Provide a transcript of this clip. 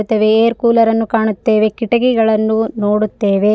Air cooler ಅನ್ನು ಕಾಣುತ್ತೇವೆ ಕೀಟಕಿಗಳನ್ನು ನೋಡುತ್ತೇವೆ.